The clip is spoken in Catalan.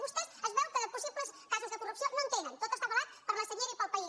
vostè es veu que de possibles casos de corrupció no en tenen tot està ava·lat per la senyera i pel país